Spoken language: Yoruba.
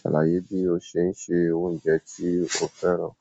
Salàyé bí o ṣe ń sẹ oúnjẹ tí o fẹ́ràn?